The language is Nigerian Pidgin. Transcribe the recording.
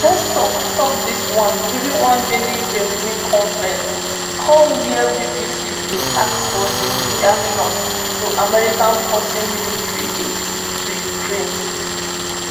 peskov tok dis one during one daily kremlin conference call wia bbc bin ask for im reaction to america pausing military aid to ukraine